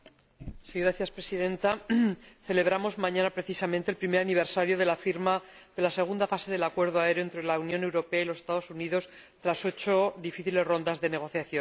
Señora Presidenta, mañana celebramos, precisamente, el primer aniversario de la firma de la segunda fase del Acuerdo aéreo entre la Unión Europea y los Estados Unidos tras ocho difíciles rondas de negociación.